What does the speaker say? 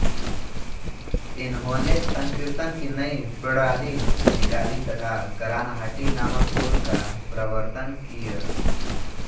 इन्होंने संकीर्तन की नई प्रणाली निकाली तथा गरानहाटी नामक सुर का प्रवर्तन किय